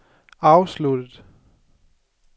afsluttet